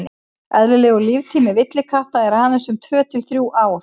eðlilegur líftími villikatta er aðeins um tvö til þrjú ár